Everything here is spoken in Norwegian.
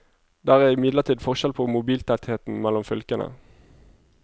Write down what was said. Det er imidlertid forskjell på mobiltettheten mellom fylkene.